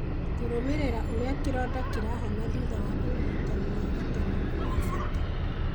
Kũrũmĩrĩra ũrĩa kĩronda kĩrahona thutha wa ũrigitani wa gatene nĩ gwa bata